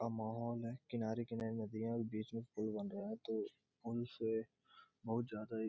का माहौल है किनारे-किनारे नदियाँ और बीच में पुल बन रहा है तो पुल से बहुत ज्यादा ही --